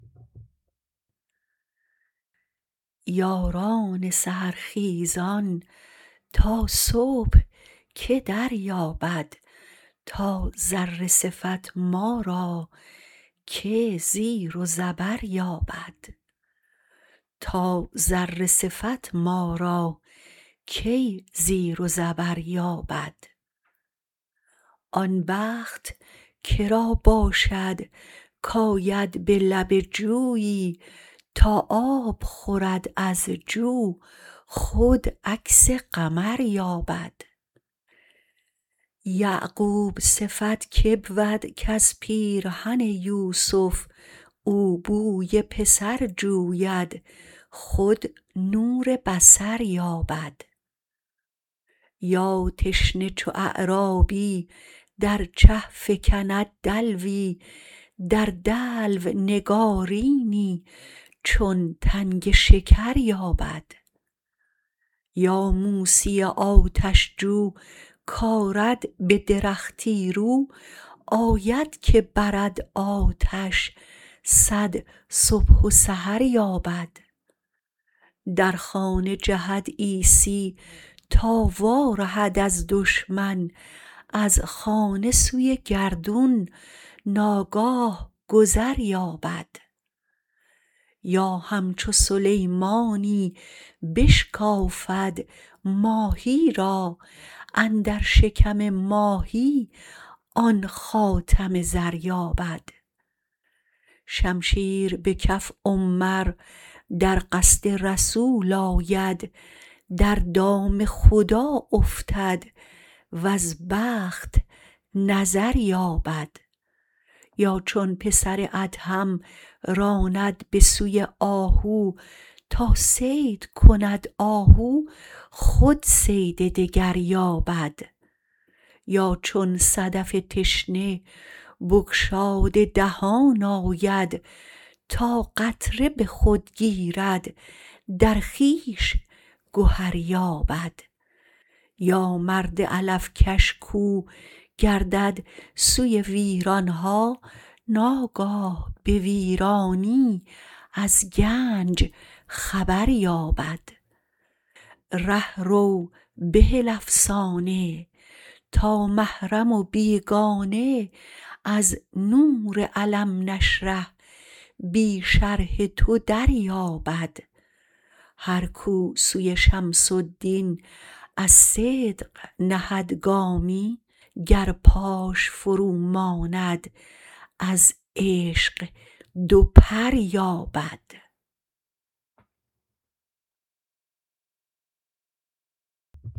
یاران سحر خیزان تا صبح که دریابد تا ذره صفت ما را که زیر و زبر یابد آن بخت که را باشد کآید به لب جویی تا آب خورد از جو خود عکس قمر یابد یعقوب صفت که بود کز پیرهن یوسف او بوی پسر جوید خود نور بصر یابد یا تشنه چو اعرابی در چه فکند دلوی در دلو نگارینی چون تنگ شکر یابد یا موسی آتش جو کآرد به درختی رو آید که برد آتش صد صبح و سحر یابد در خانه جهد عیسی تا وارهد از دشمن از خانه سوی گردون ناگاه گذر یابد یا همچو سلیمانی بشکافد ماهی را اندر شکم ماهی آن خاتم زر یابد شمشیر به کف عمر در قصد رسول آید در دام خدا افتد وز بخت نظر یابد یا چون پسر ادهم راند به سوی آهو تا صید کند آهو خود صید دگر یابد یا چون صدف تشنه بگشاده دهان آید تا قطره به خود گیرد در خویش گهر یابد یا مرد علف کش کاو گردد سوی ویران ها ناگاه به ویرانی از گنج خبر یابد ره رو بهل افسانه تا محرم و بیگانه از نور الم نشرح بی شرح تو دریابد هر کاو سوی شمس الدین از صدق نهد گامی گر پاش فروماند از عشق دو پر یابد